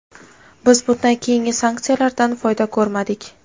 Biz bundan keyingi sanksiyalardan foyda ko‘rmadik.